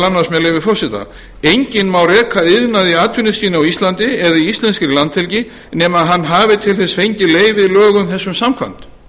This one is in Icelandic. annars með leyfi forseta enginn má reka iðnað í atvinnuskyni á íslandi eða í íslenskri landhelgi nema hann hafi til þess fengið leyfi lögum þessum samkvæmt